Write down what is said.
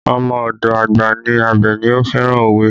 Ọmọ ọdọ àgbà ní Abeni, ó fẹ́ràn òwe